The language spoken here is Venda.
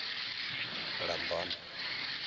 lambani